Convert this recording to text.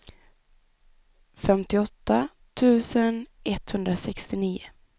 femtioåtta tusen etthundrasextionio